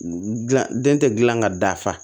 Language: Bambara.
Gilan den tɛ gilan ka da